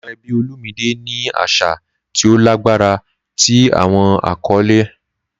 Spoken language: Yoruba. Awọn ẹbi Olumide ni aṣa ti o lagbara ti awọn akọle.